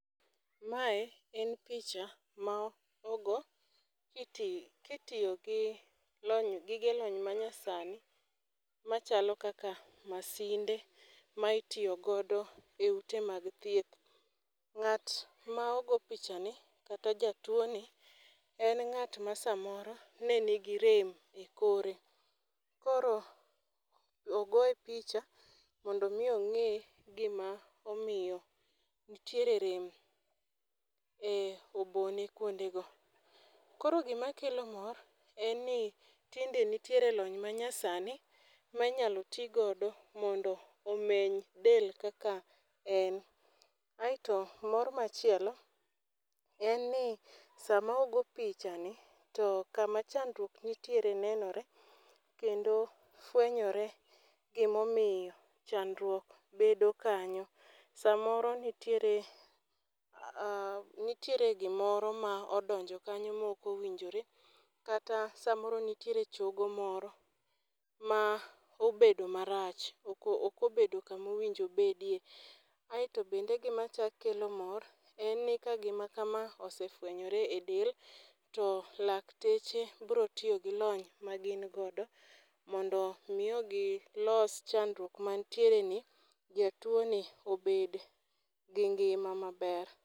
Mae en picha ma ogo kitiyo gi gige lony manyasani machalo kaka masinde ma itiyo godo e ute mag thieth. Ng'at ma ogo pichani kata jatuwoni en ng'at ma samoro ne nigi rem e kore, koro ogoye picha mondo omi ong'e gima omiyo nitiere rem e obone kwondego. Koro gima kelo mor en ni tinde nitiere lony manyasani ma inyalo ti godo mondo omeny del kaka en. Aeto mor machielo en ni sama ogo pichani to kama chadruok nitiere nenore kendo fwenyore gimomiyo chandruok bedo kanyo, samoro nitiere gimoro ma odonjo kanyo ma ok owinjore kata samoro nitiere chogo moro ma obedo marach, ok obedo kamo winjo obedie, aeto bende gimachako kelo mor en ni ka gima kama osefwenyore e del, to lakteche biro tiyo gi lony magin godo mondo omi gilos chandruok manitiereni, jatuwoni obed gi ngima maber.